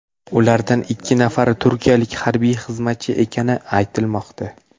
Ulardan ikki nafari turkiyalik harbiy xizmatchi ekani aytilmoqda.